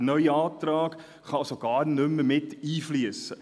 Ein neuer Antrag kann somit gar nicht mehr einfliessen.